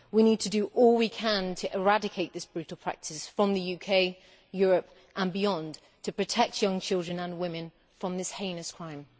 We need to do all we can to eradicate this brutal practice from the UK, Europe, and beyond, to protect young children and women from this heinous crime.